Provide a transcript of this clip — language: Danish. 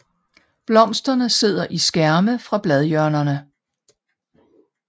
Blomsterne sidder i skærme fra bladhjørnerne